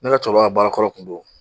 Ne ka cɛkɔrɔba ka baarakɔrɔ tun don.